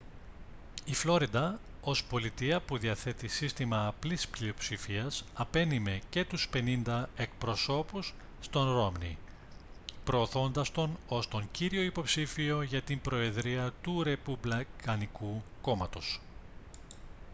η φλόριντα ως πολιτεία που διαθέτει σύστημα απλής πλειοψηφίας απένειμε και τους πενήντα εκπροσώπους στον ρόμνι προωθώντας τον ως τον κύριο υποψήφιο για την προεδρία του ρεπουμπλικανικού κόμματος